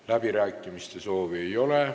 Läbirääkimiste soovi ei ole.